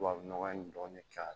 Tubabu nɔgɔ in dɔɔnin k'a la